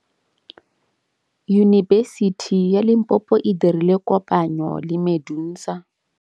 Yunibesiti ya Limpopo e dirile kopanyô le MEDUNSA.